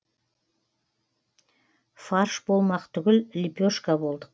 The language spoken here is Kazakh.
фарш болмақ түгіл лепешка болдық